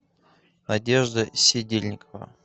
надежда сидельникова